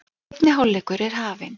Seinni hálfleikur er hafinn